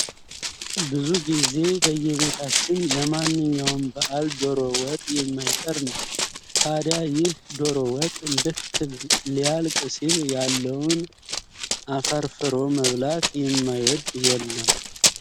ብዙ ጊዜ በየቤታችን ለማንኛውም በአል ዶሮ ወጥ የማይቀር ነው። ታድያ ይህ ዶሮ ወጥ ልክ ሊያልክ ሲል ያለውን አፈርፍሮ መብላት ማይወድ የለም።